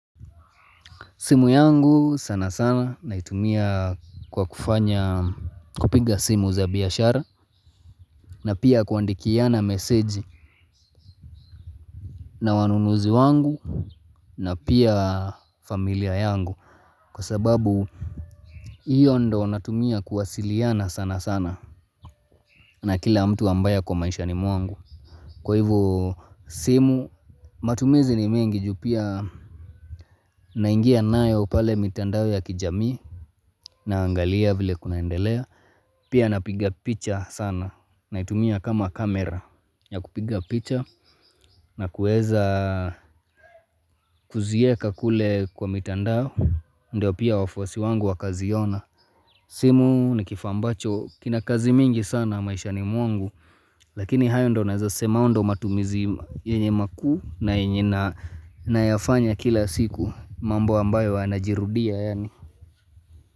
Simu yangu sana sana na naitumia kwa kufanya kupiga simu za biashara na pia kuandikiana meseji na wanunuzi wangu na pia familia yangu kwa sababu hiyo ndo natumia kuwasiliana sana sana na kila mtu ambaye ako maishani mwangu. Kwa hivo simu matumizi ni mingi juu pia naingia naye pale mitandao ya kijamii na angalia vile kunaendelea Pia napiga picha sana na itumia kama kamera ya kupiga picha na kuweza kuzieka kule kwa mitandao Ndio pia wafuasi wangu wakaziona simu ni kifambacho kina kazi mingi sana maisha ni mwangu Lakini hayo ndo naweza sema ndo matumizi yenye makuu na yafanya kila siku mambo ambayo anajirudia yaani.